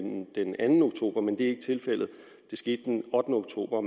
den anden oktober men det er ikke tilfældet det skete den ottende oktober